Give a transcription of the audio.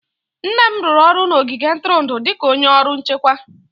Nne m rụrụ ọrụ n'ogige ntụrụndụ dị ka onye ọrụ nchekwa.